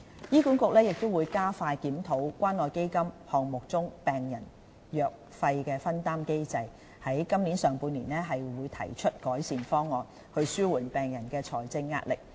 醫管局亦會加快檢討關愛基金項目中病人藥費分擔機制，於今年上半年提出改善方案，以紓緩病人的財政壓力。